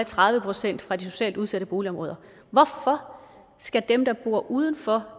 tredive procent fra de socialt udsatte boligområder hvorfor skal dem der bor uden for